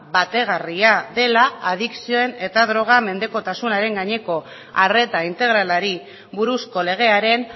bategarria dela adikzioen eta drogaren menpekotasunaren gaineko arreta integralari buruzko legearen